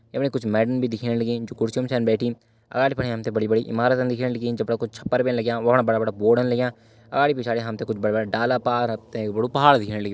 यमणि कुछ मैडम भी दिखेण लगीं जु कुर्सियों मा छन बैठीं अगाड़ी फणे हम ते बड़ी बड़ी इमारत दिखेण लगीं जफणा कुछ छप्पर भी लग्यां वफणा बड़ा बड़ा बोर्ड लग्यां अगाड़ी पिछाड़ी हम ते कुछ बड़ा बड़ा डाला पार हम ते एक बड़ु पहाड़ दिखेण लग्युं।